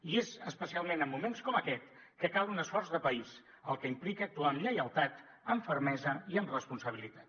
i és especialment en moments com aquest que cal un esforç de país cosa que implica actuar amb lleialtat amb fermesa i amb responsabilitat